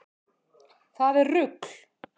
Það er rugl.